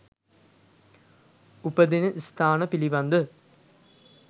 උපදින ස්ථාන පිළිබඳ